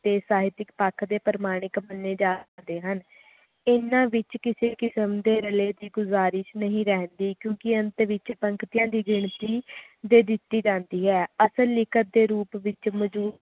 ਤੇ ਸਾਰੇ ਇੱਕ ਪੱਖ ਦੇ ਪ੍ਰਮਾਣਿਕ ਮੰਨੇ ਜਾ ਸਕਦੇ ਹਨ ਹਨ ਵਿਚ ਕਿਸੇ ਪ੍ਰਕਾਰ ਦੇ ਰਲੇ ਦੀ ਗੁਜ਼ਾਰਿਸ਼ ਨਹੀਂ ਰਹਿੰਦੀ ਕਿਉਕਿ ਅੰਤ ਵਿਚ ਪੰਕਤੀਆਂ ਦੀ ਗਿਣਤੀ ਵੀ ਦਿੱਤੀ ਜਾਂਦੀ ਹੈ ਅਸਲ ਲਿਖਤ ਦੇ ਰੂਪ ਵਿਚ ਮਜਰੂਫ